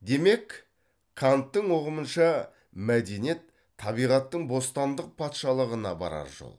демек канттың ұғымынша мәдениет табиғаттың бостандық патшалығына барар жол